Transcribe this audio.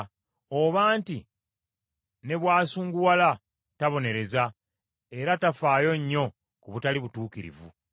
oba nti, ne bw’asunguwala tabonereza era tafaayo nnyo ku butali butuukirivu.